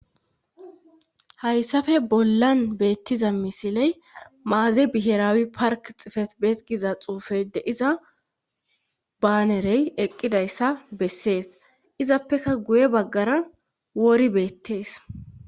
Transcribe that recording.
Hayssafe bollan beettiza misiley maaze bihiraawi park xifet beexgiza xuufeyde iza baanerey eqqidayssa bessees izappeka guye baggara wori beettees.